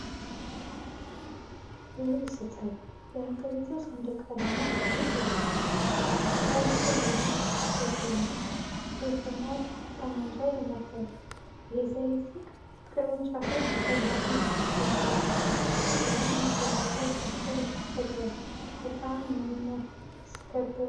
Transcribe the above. ክብር ይሰጣል! የሀገሪቱን ሰንደቅ ዓላማ ስሜት ያጓጓል። የሰራዊቱ አርማ ሲያስደንቅ! ሰይፍና ጠመንጃ ይመታል። የዘይት ቅርንጫፎች ሰላም ያስባሉ። ሀገርን መከላከል ፍቅር ይፈጥራል። በጣም የሚያስከብር ነው።